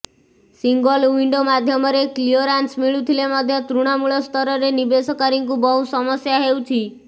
single window ମାଧ୍ୟମରେ clearance ମିଳୁଥିଲେ ମଧ୍ୟ ତୃଣମୂଳସ୍ତରରେ ନିବେଶକାରୀଙ୍କୁ ବହୁ ସମସ୍ୟା ହେଉଛି